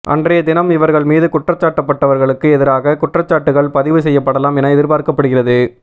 அன்றைய தினம் இவர்கள் மீது குற்றம்சாட்டப்பட்டவர்களுக்கு எதிராக குற்றச்சாட்டுக்கள் பதிவு செய்யப்படலாம் என எதிர்பார்க்கப்படுகிறது